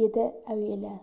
деді әуелі